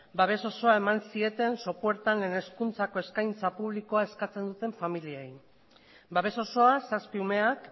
babes osoa eman zieten sopuertan lehen hezkuntzako eskaintza publikoa eskatzen duten familiei babes osoa zazpi umeak